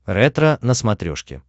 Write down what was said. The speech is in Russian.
ретро на смотрешке